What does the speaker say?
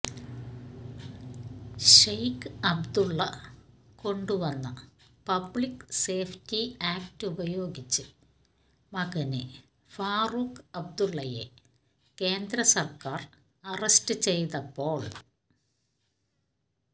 ഷെയ്ഖ് അബ്ദുള്ള കൊണ്ടുവന്ന Public Safety Act ഉപയോഗിച്ച് മകന് ഫാറൂഖ് അബ്ദുള്ളയെ കേന്ദ്രസര്ക്കാര് അറസ്റ്റ് ചെയ്തപ്പോള്